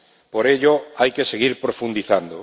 Por ello hay que seguir profundizando.